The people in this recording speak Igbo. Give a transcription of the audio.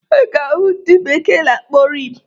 Ị ga-ahụ nke ndị bekee na-akpọ Rim